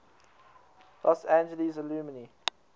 los angeles alumni